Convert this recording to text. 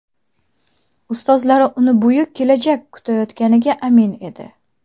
Ustozlari uni buyuk kelajak kutayotganiga amin edi.